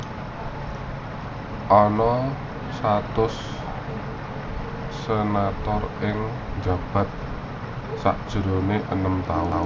Ana satus senator sing njabat sajroning enem taun